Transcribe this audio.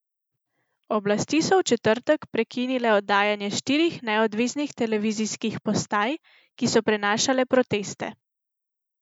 Oblasti so v četrtek prekinile oddajanje štirih neodvisnih televizijskih postaj, ki so prenašale proteste.